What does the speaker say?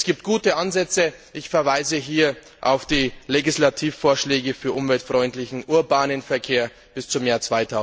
Es gibt gute Ansätze, ich verweise hier auf die Legislativvorschläge für umweltfreundlichen urbanen Verkehr bis zum Jahr